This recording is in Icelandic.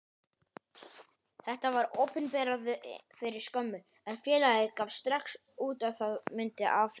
Þetta var opinberað fyrir skömmu, en félagið gaf það strax út að það myndi áfrýja.